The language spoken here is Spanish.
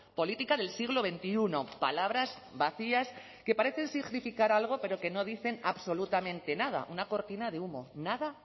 política del siglo veintiuno palabras vacías que parecen significar algo pero que no dicen absolutamente nada una cortina de humo nada